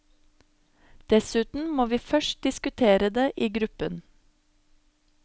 Dessuten må vi først diskutere det i gruppen.